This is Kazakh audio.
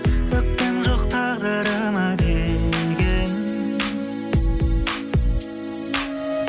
өкпем жоқ тағдырыма деген